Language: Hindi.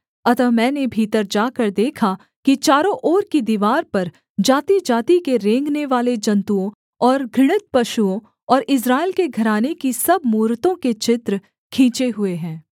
अतः मैंने भीतर जाकर देखा कि चारों ओर की दीवार पर जातिजाति के रेंगनेवाले जन्तुओं और घृणित पशुओं और इस्राएल के घराने की सब मूरतों के चित्र खींचे हुए हैं